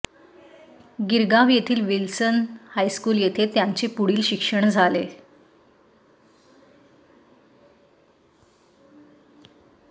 गिरगाव येथील Wilson high school येथे त्यांचे पुढील शिक्षण झाले